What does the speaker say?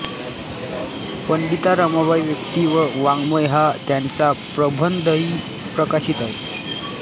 पंडिता रमाबाईव्यक्ती व वाङ्मय हा त्यांचा प्रबंधही प्रकाशित आहे